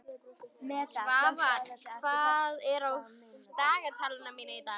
Svafar, hvað er á dagatalinu mínu í dag?